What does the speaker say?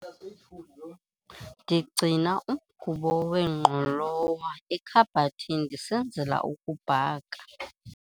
ndigcina umgubo wengqolowa ekhabhathini ndisenzela ukubhaka